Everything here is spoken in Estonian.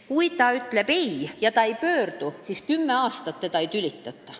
Kui ta ütleb ei ja ta ei pöördu, siis teda ei tülitata kümme aastat.